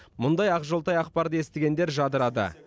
мұндай ақжолтай ақпарды естігендер жадырады